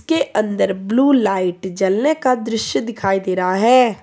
के अंदर blue light जलने का दृश्य दिखाई दे रहा है।